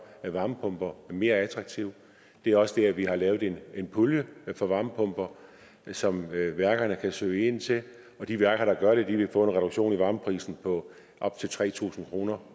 at varmepumper er mere attraktive det er også det at vi har lavet en pulje for varmepumper som værkerne kan ansøge ansøge og de værker der gør det vil få en reduktion i varmeprisen på op til tre tusind kroner